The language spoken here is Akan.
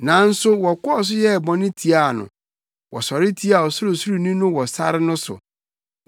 Nanso wɔkɔɔ so yɛɛ bɔne tiaa no, wɔsɔre tiaa Ɔsorosoroni no wɔ sare no so.